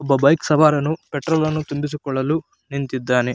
ಒಬ್ಬ ಬೈಕ್ ಸವಾರನು ಪೆಟ್ರೋಲ್ ಅನ್ನು ತುಂಬಿಸಿಕೊಳ್ಳಲು ನಿಂತಿದ್ದಾನೆ .